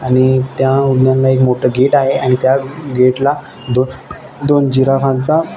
आणि त्या एक मोठ गेट आहे आणि त्या गेट ला दोन जीराफाचा --